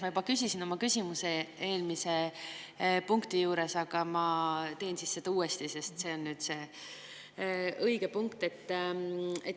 Ma juba küsisin oma küsimuse eelmise punkti juures, aga ma teen seda uuesti, sest see on nüüd see õige punkt.